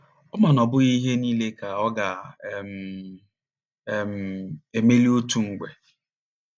Ọ ma na ọ bụghị ihe niile ka ọ ga um - um - emeli otu mgbe.